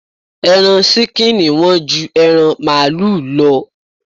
Ẹran ṣíkìnì Wọ́n ju ẹran màlúù lọ